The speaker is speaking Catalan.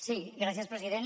sí gràcies president